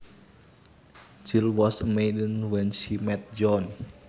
Jill was a maiden when she met John